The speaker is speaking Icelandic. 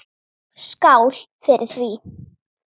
Skál fyrir því.